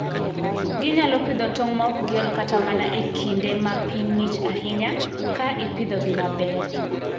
Ginyalo pidho tong' maok giol kata mana e kinde ma piny ng'ich ahinya, ka ipidhogi maber.